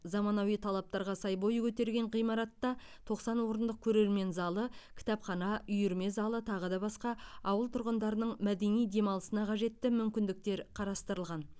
заманауи талаптарға сай бой көтерген ғимаратта тоқсан орындық көрермен залы кітапхана үйірме залы тағы басқа ауыл тұрғындарының мәдени демалысына қажетті мүмкіндіктер қарастырылған